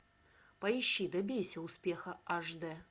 поищи добейся успеха аш д